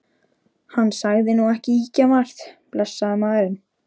Hann sagði nú ekki ýkjamargt, blessaður maðurinn.